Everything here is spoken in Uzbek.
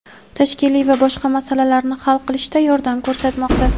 tashkiliy va boshqa masalalarni hal qilishda yordam ko‘rsatmoqda.